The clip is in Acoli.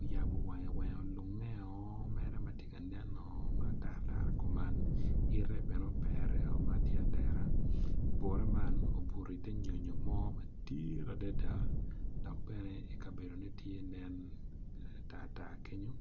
oyabo wange wange olungeo mere matye ka neno matar tara kuman ite bene opere o matye atera buta man obuto iter nyonyo mo madit adada dok bene i kabedo ne tye nen tartar kenyo.